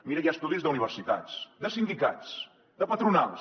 mira que hi ha estudis d’universitats de sindicats de patronals